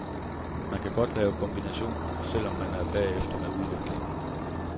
Man kan godt lave kombinationer, selv om man er bagefter med udviklingen.